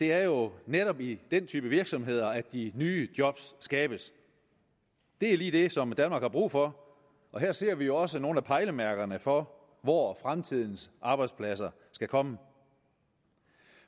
det er jo netop i den type virksomheder de nye job skabes det er lige det som danmark har brug for og her ser vi også nogle af pejlemærkerne for hvor fremtidens arbejdspladser skal komme